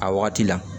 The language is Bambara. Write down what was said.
A wagati la